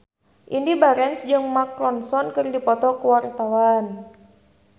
Indy Barens jeung Mark Ronson keur dipoto ku wartawan